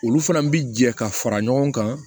Olu fana bi jɛ ka fara ɲɔgɔn kan